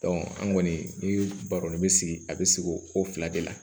an kɔni ni baroni bɛ sigi a bɛ sigi o ko fila de la